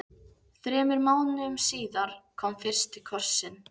Þremur mánuðum síðar kom fyrsti kossinn.